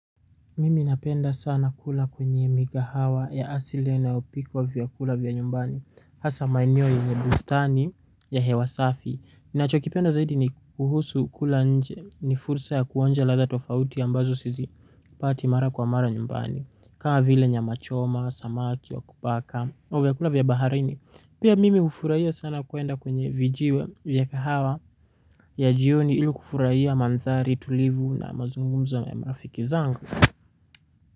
Mimi napenda sana kula kwenye mikahawa ya asile inayopikwa vyakula vya nyumbani. Hasa maeneo yenye bustani ya hewa safi ninachokipenda zaidi ni kuhusu kula nje. Ni fursa ya kuonja ladha tofauti ambazo sizi pati mara kwa mara nyumbani. Kama vile nyama choma, samaki, wa kupaka au vyakula vya baharini. Pia mimi hufuraia sana kwenda kwenye vijiwe vya kihawa. Ya jioni ilu kufuraia mandhari, tulivu na mazungumzo ya mafiki zangu.